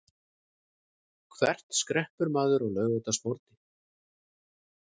Hvert skreppur maður á laugardagsmorgni?